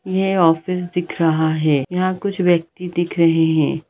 यह ऑफिस दिख रहा है यहा कुछ व्यक्ति दिख रहे है।